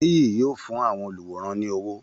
. Nìyí yóò fún àwọn oluwòran ní owó